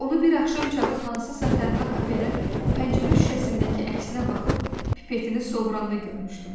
Onu bir axşam çağı hansısa tənha kafedə pəncərə şüşəsindəki əksinə baxıb pipetini sovranda görmüşdüm.